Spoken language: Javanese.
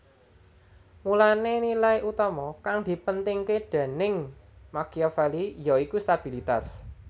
Mulané nilai utama kang dipentingké déning Machiavelli yaiku stabilitas